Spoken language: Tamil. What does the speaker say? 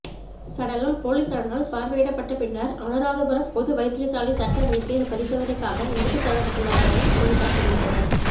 சடலம் பொலிசாரினால் பார்வையிடப்பட்ட பின்னர் அனுராதபுரம் பொது வைத்தியசாலை சட்ட வைத்தியர் பரிசோதனைக்காக எடுத்துச் செல்லப்பட்டுள்ளதாகவும் பொலிசார் தெரிவித்தனர்